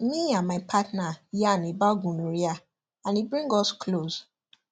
me and my partner yarn about gonorrhea and e bring us close